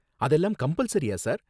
அதெல்லாம் கம்பல்சரியா சார்?